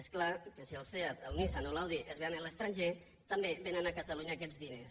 és clar que si el seat el nissan o l’audi es ven a l’estranger també vénen a catalunya aquests diners